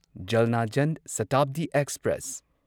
ꯖꯜꯅꯥ ꯖꯟ ꯁꯇꯥꯕꯗꯤ ꯑꯦꯛꯁꯄ꯭ꯔꯦꯁ